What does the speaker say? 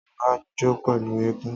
Ọba jó pẹ̀lú eégún